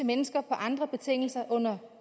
mennesker på andre betingelser under